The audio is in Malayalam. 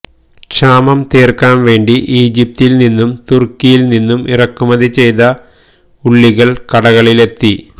ക്ഷാമം തീര്ക്കാന് വേണ്ടി ഈജിപ്തില് നിന്നും തുര്ക്കിയില് നിന്നും ഇറക്കുമതി ചെയ്ത ഉള്ളികള് കടകളിലെത്തി